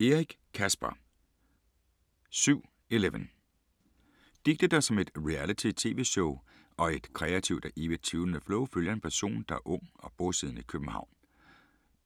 Eric, Caspar: 7/11 Digte der som et reality tv-show, og i et kreativt og evigt tvivlende flow, følger en person der er ung og bosiddende i København.